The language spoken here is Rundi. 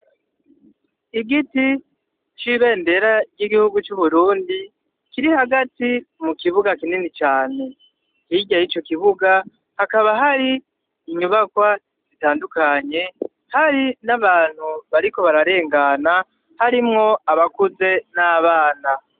Igiti c'ibendera ry'igihugu c'Uburundi, kiri hagati mu kibuga kinini cane. Hirya y'ico kibuga hakaba hari inyubakwa zitandukanye, hari n'abantu bariko bararengana harimwo abakuze n'abana.